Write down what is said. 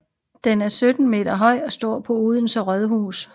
Den er 17 m høj og står på Odense Rådhus